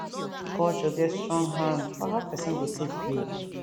culture get strong hand for how pesin go take heal